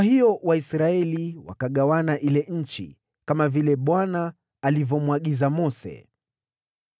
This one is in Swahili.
Kwa hiyo Waisraeli wakagawana ile nchi, kama vile Bwana alivyomwagiza Mose.